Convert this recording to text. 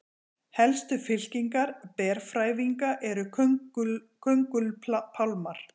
helstu fylkingar berfrævinga eru köngulpálmar